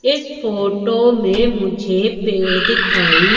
इस फोटो मे मुझे पेड़ दिखाई--